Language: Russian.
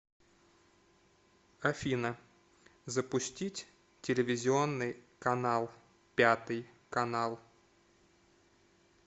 афина запустить телевизионный канал пятый канал